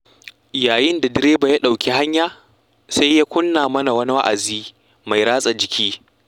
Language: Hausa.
Yayin da direba ya ɗauki hanya, sai ya kunna mana wani wa'azi mai ratsa jiki.